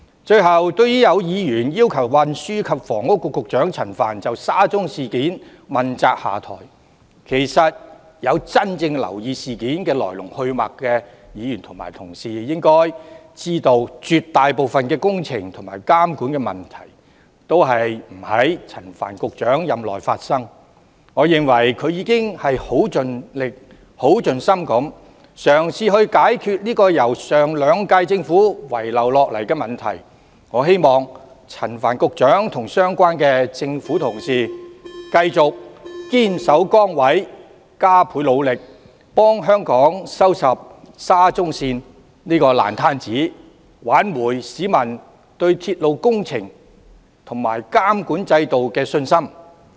最後，對於有議員要求運輸及房屋局局長陳帆就沙中線事件問責下台，其實有真正留意事件來龍去脈的議員應知道，絕大部分工程和監管的問題都不在陳帆局長任內發生，我認為局長已盡心盡力地嘗試解決由上兩屆政府遺留下來的問題，我希望陳帆局長和相關的政府官員繼續堅守崗位、加倍努力，為香港收拾沙中線這個爛攤子，挽回市民對鐵路工程及監管制度的信心。